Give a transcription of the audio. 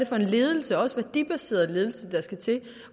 for en ledelse også værdibaseret ledelse der skal til